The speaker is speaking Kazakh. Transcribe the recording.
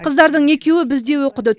қыздардың екеуі бізде оқыды